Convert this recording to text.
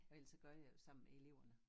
Og ellers så gør jeg jo sammen med eleverne